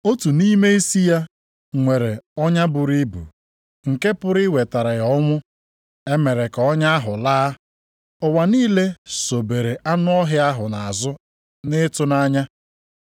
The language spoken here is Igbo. Otu nʼime isi ya nwere ọnya buru ibu, nke pụrụ iwetara ya ọnwụ, e mere ka ọnya ahụ laa. Ụwa niile sobere anụ ọhịa ahụ nʼazụ nʼịtụnanya.